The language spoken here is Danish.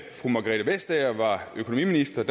fru margrethe vestager var økonomiminister